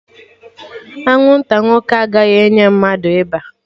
Anwụnta nwoke agaghị enye mmadụ ịba